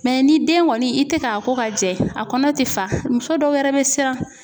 ni den kɔni i tɛ k'a ko ka jɛ a kɔnɔ tɛ fa muso dɔw yɛrɛ bɛ siran.